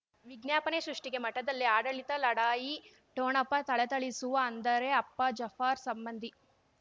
ವಿಜ್ಞಾಪನೆ ಸೃಷ್ಟಿಗೆ ಮಠದಲ್ಲಿ ಆಡಳಿತ ಲಢಾಯಿ ಠೋಣಪ ಥಳಥಳಿಸುವ ಅಂದರೆ ಅಪ್ಪ ಜಾಫರ್ ಸಂಬಂಧಿ